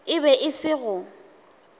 e be e se go